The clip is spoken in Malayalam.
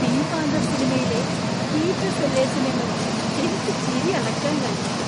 പിങ്ക് പാന്തർ സിനിമയിലെ പീറ്റർ സെല്ലേഴ്സിനെ നോക്കി എനിക്ക് ചിരി അടക്കാൻ കഴിഞ്ഞില്ല.